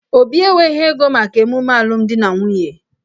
Obi enweghị ego maka ememe alụmdi na nwunye